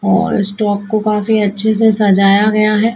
और स्टॉक को काफी अच्छे से सजाया गया है।